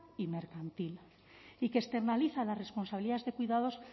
y mercantil y que externaliza las responsabilidades de cuidados